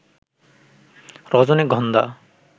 রজনীগন্ধা